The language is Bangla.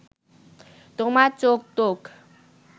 তোমার চোখ-টোখ